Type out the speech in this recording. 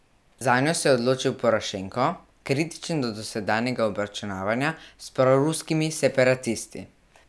Zanjo se je odločil Porošenko, kritičen do dosedanjega obračunavanja s proruskimi separatisti.